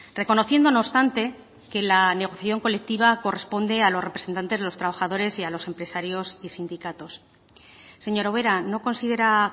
reconociendo no obstante que la negociación colectiva corresponde a los representantes de los trabajadores y a los empresarios y sindicatos señora ubera no considera